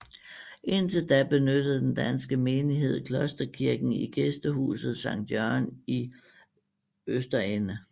Indtil da benyttede den danske menighed klosterkirken i Gæstehuset Sankt Jørgen i Østerende